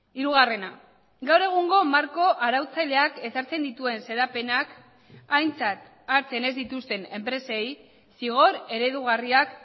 hirugarrena gaur egungo marko arautzaileak ezartzen dituen xedapenak aintzat hartzen ez dituzten enpresei zigor eredugarriak